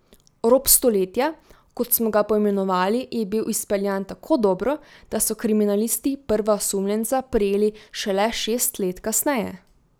Rop stoletja, kot smo ga poimenovali, je bil izpeljan tako dobro, da so kriminalisti prva osumljenca prijeli šele šest let kasneje.